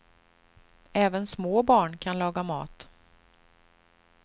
Även små barn kan laga mat.